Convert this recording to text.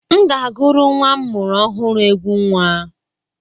M ga-agụrụ nnwa m mụrụ ọhụrụ egwú nnwa.